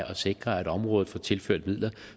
og sikre at området får tilført midler